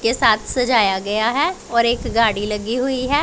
के साथ सजाया गया है और एक गाड़ी लगी हुई है।